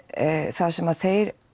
það sem þeir